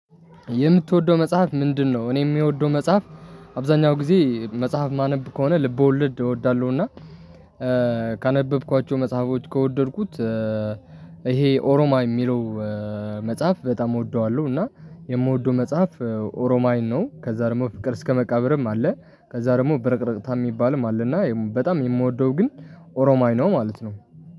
የምትወደው መጽሐፍ ምንድነው? እኔ የምወደው መጽሐፍ አብዛኛው ጊዜ መጽሐፍ ማነብ ከሆነ ልብ ወለድ እወዳለሁና። ካነበብኳቸው መጽሐፎች ከወደድኩት። ይሄ ኦሮማይ የሚለው መጽሐፍ በጣም እወደዋለሁ። እና የምወደው መጽሐፍ ኦሮማይን ነው። ከዛ ደግሞ ፍቅር እስከመቃብርም አለ። ከዛ ደግሞ ብረቅረቅታ የሚባልም አለና በጣም የምወደው ግን ኦሮማይ ነው ማለት ነው